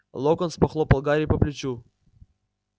локонс похлопал гарри по плечу